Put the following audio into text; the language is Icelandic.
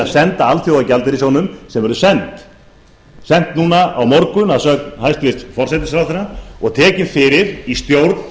senda alþjóðagjaldeyrissjóðnum sem verður sent núna á morgun að sögn hæstvirtur forsætisráðherra og tekin fyrir í stjórn